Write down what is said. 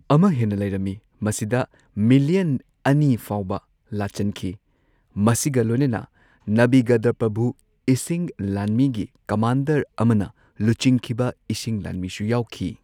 ꯑꯃ ꯍꯦꯟꯅ ꯂꯩꯔꯝꯃꯤ, ꯃꯁꯤꯗ ꯃꯤꯂꯤꯌꯟ ꯑꯅꯤ ꯐꯥꯎꯕ ꯂꯥꯆꯟꯈꯤ, ꯃꯁꯤꯒ ꯂꯣꯏꯅꯅ ꯅꯕꯤꯒꯗꯄ꯭ꯔꯚꯨ ꯏꯁꯤꯡ ꯂꯥꯟꯃꯤꯒꯤ ꯀꯃꯥꯟꯗꯔ ꯑꯃꯅ ꯂꯨꯆꯤꯡꯈꯤꯕ ꯏꯁꯤꯡ ꯂꯥꯟꯃꯤꯁꯨ ꯌꯥꯎꯈꯤ꯫